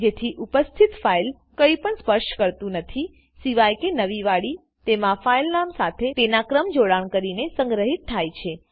જેથી ઉપસ્તિથ ફાઈલ કઈ પણ સ્પર્શ કરતું નથીસિવાય કે નવી વાડી તેના ફાઈલનામ સાથે તેના કર્મ જોડાણ કરીને સંગ્રહિત થાય છે